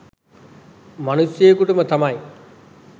මනුෂ්‍යයෙකුටම තමයි